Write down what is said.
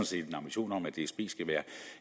set en ambition om at dsb skal være